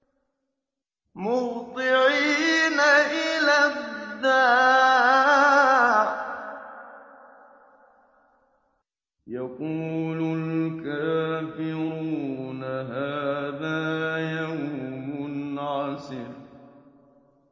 مُّهْطِعِينَ إِلَى الدَّاعِ ۖ يَقُولُ الْكَافِرُونَ هَٰذَا يَوْمٌ عَسِرٌ